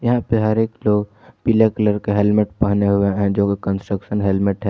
यहां पर हर एक लोग पीला कलर का हेलमेट पहने हुए हैं जो कंस्ट्रक्शन हेलमेट है।